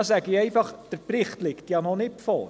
Dazu sage ich einfach: Der Bericht liegt noch nicht vor.